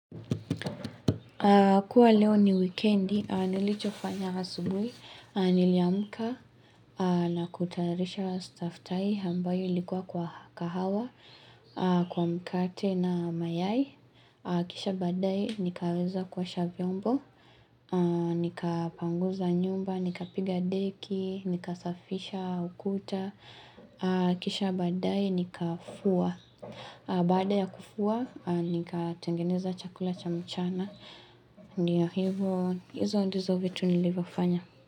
Kwa leo ni wikendi, nilicho kufanya asubui, niliamka na kutayarisha staftahi ambayo ilikua kwa kahawa, kwa mkate na mayai. Kisha badai, nikaweza kuosha vyombo, nikapanguza nyumba, nikapiga deki, nikasafisha ukuta. Kisha baadaye ni kafua baada ya kufua ni katengeneza chakula cha mchana ndio hivyo izo ndizo vitu nilivyofanya.